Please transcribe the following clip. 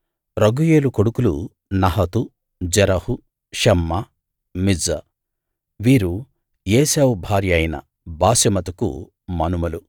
రగూయేలు కొడుకులు నహతు జెరహు షమ్మా మిజ్జా వీరు ఏశావు భార్య అయిన బాశెమతుకు మనుమలు